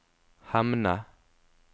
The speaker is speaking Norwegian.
Hemne